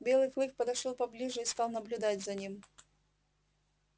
белый клык подошёл поближе и стал наблюдать за ним